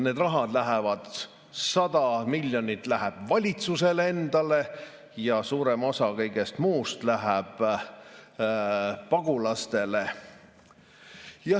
100 miljonit läheb valitsusele endale ja suurem osa kõigest muust läheb pagulastele.